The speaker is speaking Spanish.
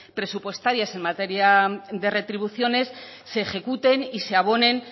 presupuestarias en materia de retribuciones se ejecuten y se abonen